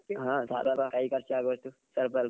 ಹಾ ಕೈ ಖರ್ಚು ಆಗುವಷ್ಟು ಸ್ವಲ್ಪ.